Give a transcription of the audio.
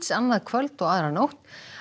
annað kvöld og aðra nótt